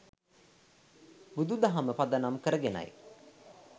බුදු දහම පදනම් කරගෙනයි.